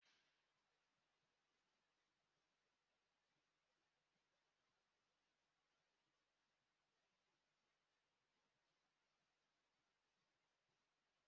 Ụzọ ogbaraohuru azụmahịa ego, e mera ka ọ dịrị ndị mmadụ mfe, ị na-akpaghari na ejighi ọtụtụ ego n'aka